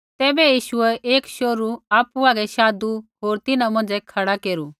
तैबै यीशुऐ एक शोहरू आपु हागै शाधु होर तिन्हां मौंझ़ै खड़ा केरू